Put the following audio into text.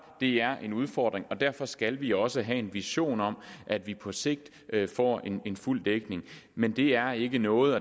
det er en udfordring og derfor skal vi også have en vision om at vi på sigt får fuld dækning men det er ikke noget